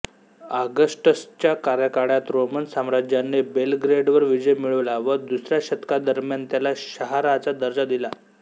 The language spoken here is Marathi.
ऑगस्टसच्या कार्यकाळात रोमन साम्राज्याने बेलग्रेडवर विजय मिळवला व दुसऱ्या शतकादरम्यान त्याला शहराचा दर्जा दिला